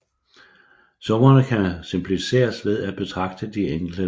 Summerne kan simplificeres ved at betragte de enkelte led